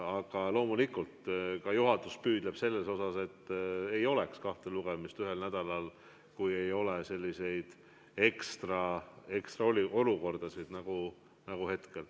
Aga loomulikult, juhatus püüdleb selle poole, et ei oleks kahte lugemist ühel nädalal, kui just ei ole sellist erilist olukorda nagu praegu.